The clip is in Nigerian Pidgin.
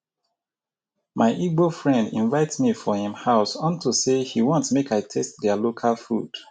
my igbo friend invite me for im house unto say he want make i taste their local food